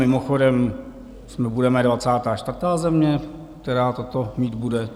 Mimochodem, my budeme 24. země, která toto mít bude.